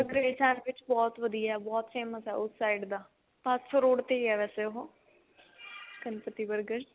grilled sandwich ਬਹੁਤ ਵਧੀਆ ਬਹੁਤ famous ਹੈ ਉਸ side ਦਾ ਭਾਦਸੋਂ road ਤੇ ਹੀ ਆ ਵੇਸੇ ਉਹ ਗਣਪਤੀ burger